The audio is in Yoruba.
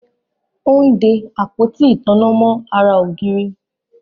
Ó ń de Àpótí ìtanná mọ́ ara ìgànnà